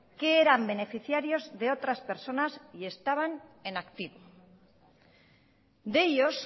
que eran beneficiarios de otras personas y estaban en activo de ellos